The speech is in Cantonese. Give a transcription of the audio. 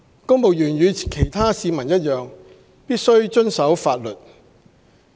公務員與其他市民一樣，必須遵守法律。